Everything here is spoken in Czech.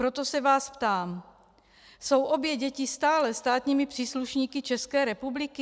Proto se vás ptám: Jsou obě děti stále státními příslušníky České republiky?